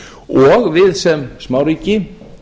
og við sem smáríki